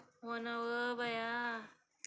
हो ना व बया